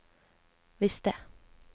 visste